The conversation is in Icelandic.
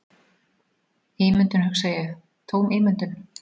Ímyndun, hugsa ég, tóm ímyndun.